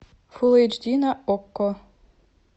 фул эйч ди на окко